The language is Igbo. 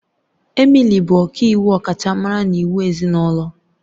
Emily bụ ọkàiwu ọkachamara na iwu ezinụlọ.